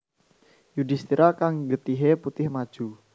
Yudhistira kang getihé putih maju